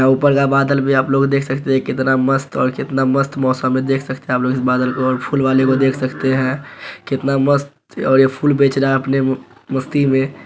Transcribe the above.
यहाँ ऊपर का बादल भी आप लोग देख सकते हैं कितना मस्त और कितना मस्त मौसम है देख सकते हैं आप लोग इस बादल को और फूल वाले को देख सकते हैं कितना मस्त और ये फूल बेच रहा है अपने म मस्ती में --